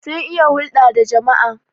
sun iya hulda da jama'a